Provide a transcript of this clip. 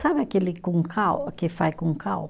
Sabe aquele com cal, que faz com cal?